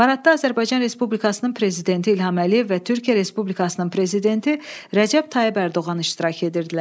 Paradda Azərbaycan Respublikasının Prezidenti İlham Əliyev və Türkiyə Respublikasının Prezidenti Rəcəb Tayyip Ərdoğan iştirak edirdilər.